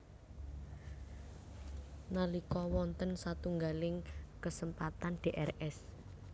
Nalika wonten satunggaling kesempatan Drs